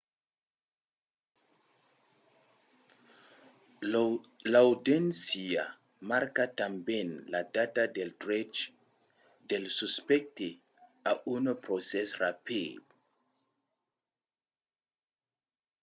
l’audiéncia marca tanben la data del drech del suspècte a un procès rapid